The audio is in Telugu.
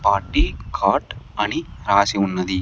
పార్టీ కార్ట్ అని రాసి ఉన్నది.